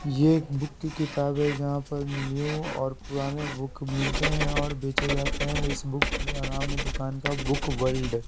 ये एक बुक की किताब है जहां पर न्यू और पुराने बुक मिलते हैं और बेचे जाते हैं इस बुक का नाम है दुकान का बुक वर्ल्ड ।